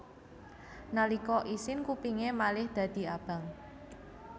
Nalika isin kupingé malih dadi abang